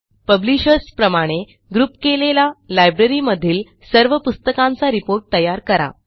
publishers प्रमाणे group केलेला लायब्ररीमधील सर्व पुस्तकांचा रिपोर्ट तयार करा